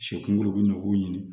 Sɛ kunkolo gule b'o ɲini